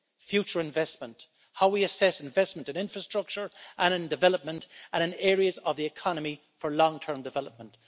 future investment, how we assess investment in infrastructure and in development and in areas of the economy for long term development.